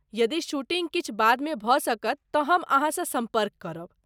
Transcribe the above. यदि शूटिँग किछु बादमे भऽ सकत तँ हम अहाँसँ सम्पर्क करब।